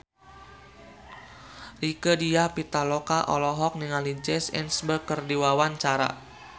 Rieke Diah Pitaloka olohok ningali Jesse Eisenberg keur diwawancara